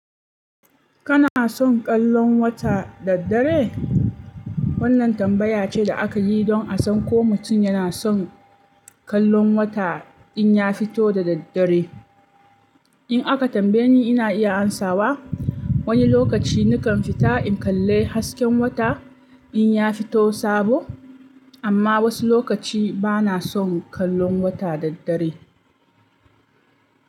Kana son kallon wata daddare? Wannan tambaya ce da aka yi don a san ko mutum yana son kallon wata in ya fito da daddare. In aka tambaye ni, ina iya amsawa. Wani lokaci nakan fita in kalle hasken wata in ya fito sabo, amma wasu lokaci bana son kallon wata daddare.